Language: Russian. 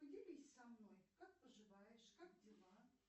поделись со мной как поживаешь как дела